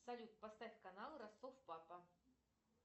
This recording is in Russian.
салют поставь канал ростов папа